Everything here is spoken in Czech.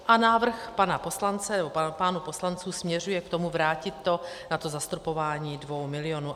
A návrh pánů poslanců směřuje k tomu vrátit to na to zastropování dvou milionů.